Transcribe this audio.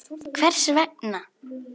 Hvers vegna?.